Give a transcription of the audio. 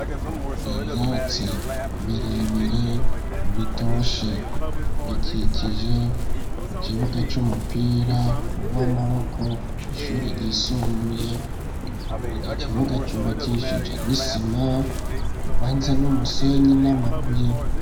ibyatsi birebire bitoshe bikikije ikibuga cy'umupira uw'amaboko k ishuri ryisumbuye iki kibuga cyuba cyishije nisima ibanze n'umusenyi n'amabuye.